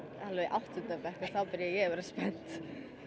áttunda bekk þá byrjaði ég að vera spennt